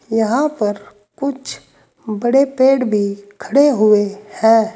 यहां पर कुछ बड़े पेड़ भी खड़े हुए हैं।